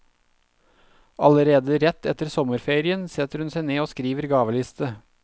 Allerede rett etter sommerferien setter hun seg ned og skriver gaveliste.